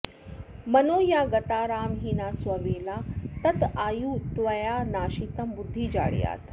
मनो या गता रामहीना स्ववेला तदायुस्त्वया नाशितं बुद्धिजाड्यात्